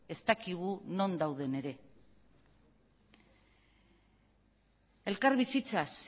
ez dakigu non dauden ere elkarbizitzaz